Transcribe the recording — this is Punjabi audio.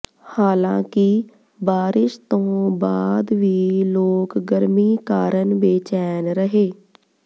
ਹਾਲਾਂਕਿ ਬਾਰਿਸ਼ ਤੋਂ ਬਾਅਦ ਵੀ ਲੋਕ ਗਰਮੀ ਕਾਰਨ ਬੇਚੈਨ ਰਹੇ